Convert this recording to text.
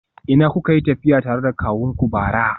A ina kuka yi tafiya tare da kawunku bara?